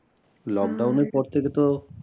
Lockdown এর পর থেকে তো